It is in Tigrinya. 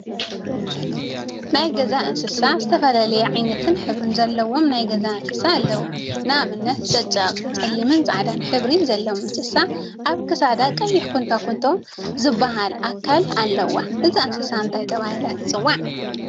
ናይ ገዛ እንስሳ ዝተፈላለየ ዓይነትን ሕብሪን ዘለዎም ናይ ገዛ እንስሳ አለው፡፡ ንአብነት ጨቅጨቅ/ፀሊምን ፃዕዳን/ ሕብሪ ዘለዋ እንስሳ አብ ክሳዳ ቀይሕ ኩንትኩንቶ ዝብሃል አካል አለዋ፡፡ እዛ እንስሳ እንታይ ተባሂላ ትፅዋዕ?